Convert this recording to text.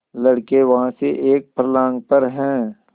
लड़के वहाँ से एक फर्लांग पर हैं